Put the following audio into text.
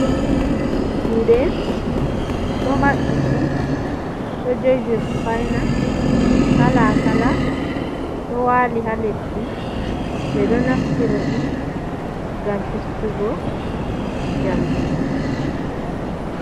Juɗe ɗo mabɓiti ɗo jogi sufaina kala kala, ɗo wali ha leddi ɓe ɗo naftiraɗi ngam festugo jamɗe.